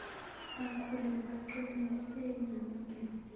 bakhule baqinise namabhizinisi